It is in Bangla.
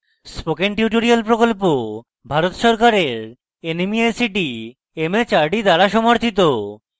spoken tutorial প্রকল্প ভারত সরকারের nmeict mhrd দ্বারা সমর্থিত